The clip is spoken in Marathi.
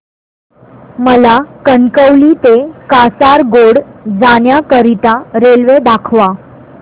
मला कणकवली ते कासारगोड जाण्या करीता रेल्वे दाखवा